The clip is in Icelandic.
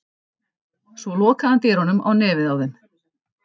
Svo lokaði hann dyrunum á nefið á þeim.